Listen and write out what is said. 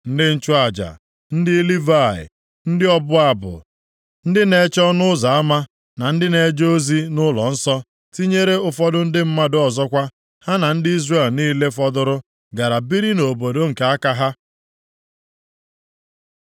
Ndị nchụaja, ndị Livayị, ndị ọbụ abụ, ndị na-eche ọnụ ụzọ ama, na ndị na-eje ozi nʼụlọnsọ, tinyere ụfọdụ ndị mmadụ ọzọkwa, ha na ndị Izrel niile fọdụrụ gara biri nʼobodo nke aka ha.